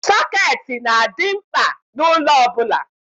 Sọketi na-adị mkpa n'ụlọ ọbụla.